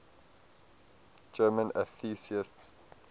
german atheists